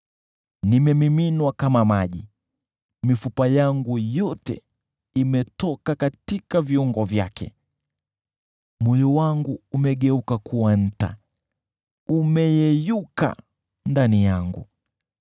Nimemiminwa kama maji, mifupa yangu yote imetoka katika viungo vyake. Moyo wangu umegeuka kuwa nta, umeyeyuka ndani yangu.